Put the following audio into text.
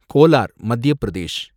Kolar, Madhya Pradesh